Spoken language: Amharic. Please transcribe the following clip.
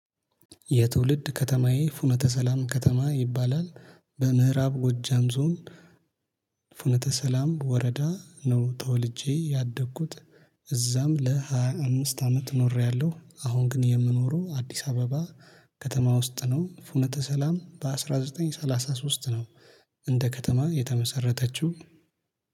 የትውልድ ከተማዬ ፍኖተ ሰላም ከተማ ይባላል በምዕራብ ጎጃም ዞን ፍኖተ ሰላም ወረዳ ነው ተወልጄ ያደግኩት እዛም ለሃያ አምስት አመት ኖሬያለሁ አሁን ግን የምኖረው አዲስ አበባ ከተማ ውስጥ ነው። ፍኖተ ሰላም በአንድ ሺህ ዘጠኝ መቶ ሰላሳ ሶስት ነው እንደ ከተማ የተመሰረተችው